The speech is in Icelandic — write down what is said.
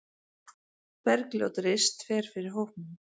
Bergljót Rist fer fyrir hópnum.